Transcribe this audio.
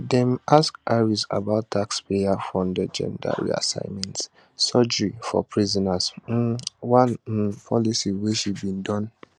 dem ask harris about taxpayerfunded gender reassignment surgery for prisoners um one um policy wey she bin don